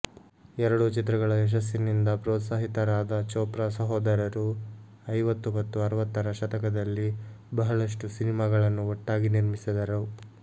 ಎರಡೂ ಚಿತ್ರಗಳ ಯಶಸ್ಸಿನಿಂದ ಪ್ರೋತ್ಸಾಹಿತರಾದ ಚೋಪ್ರಾ ಸಹೋದರರು ಐವತ್ತು ಮತ್ತು ಅರವತ್ತರ ಶತಕದಲ್ಲಿ ಬಹಳಷ್ಟು ಸಿನಿಮಾಗಳನ್ನು ಒಟ್ಟಾಗಿ ನಿರ್ಮಿಸಿದರು